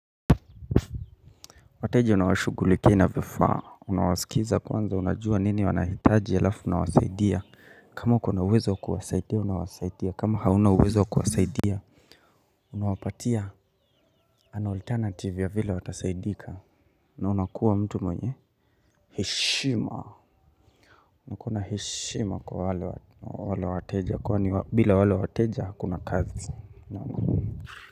Wateja unawashugulikia na vifaa, unawasikiza kwanza unajua nini wanahitaji alafu unawasaidia kama kuna uwezo wa kuwasaidia, unawasaidia, kama hauna uwezo wa kuwasaidia Unawapatia an alternative ya vile watasaidika, na unakuwa mtu mwenye heshima, uko na heshima kwa wale wateja, kwa ni bila wale wateja hakuna kazi.